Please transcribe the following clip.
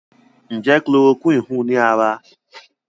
Njé Chloroquine hùn ní ára?